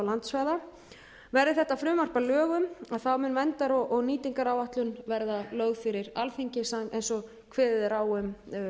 og landsvæða verði þetta frumvarp að lögum mun verndar og nýtingaráætlun verða lögð fyrri alþingi eins og kveðið er á um